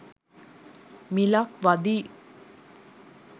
මිලක් වදියි